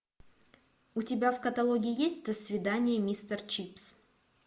у тебя в каталоге есть до свидания мистер чипс